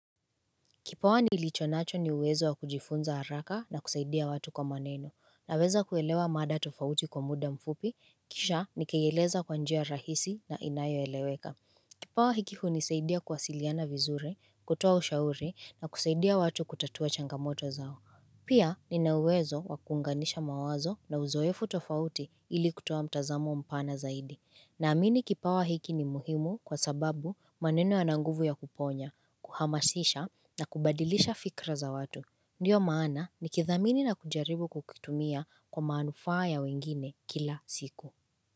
Kipawa nilichonacho ni uwezo wa kujifunza haraka na kusaidia watu kwa maneno. Naweza kuelewa mada tofauti kwa muda mfupi, kisha nikaieleza kwa njia rahisi na inayoeleweka. Kipawa hiki hunisaidia kuwasiliana vizuri, kutoa ushauri na kusaidia watu kutatua changamoto zao. Pia nina uwezo wa kuunganisha mawazo na uzoefu tofauti ili kutoa mtazamo mpana zaidi. Naamini kipawa hiki ni muhimu kwa sababu maneno yana nguvu ya kuponya, kuhamasisha na kubadilisha fikra za watu. Ndiyo maana nikithamini na kujaribu kukitumia kwa manufaa ya wengine kila siku.